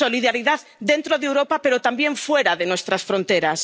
Solidaridad dentro de Europa, pero también fuera de nuestras fronteras.